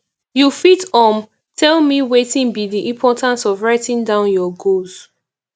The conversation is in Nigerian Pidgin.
you fit um tell me wetin be di importance of writing down your goals